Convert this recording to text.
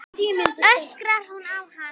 öskrar hún á hann.